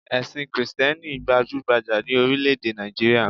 Èsìn krìsténi gbajúgbajà ni orílé èdè Nàìjíríà